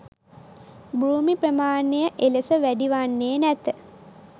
භූමි ප්‍රමාණය එලෙස වැඩි වන්නේ නැත.